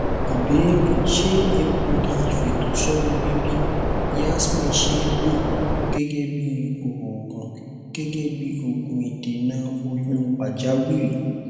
ìbéèrè ṣé egbogi ifeto somo bibi yasmin see lo gẹgẹ bí oògùn gẹgẹ bí oògùn idena oyun pajawiri